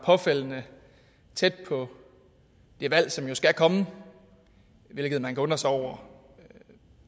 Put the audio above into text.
påfaldende tæt på det valg som jo skal komme hvilket man kan undre sig over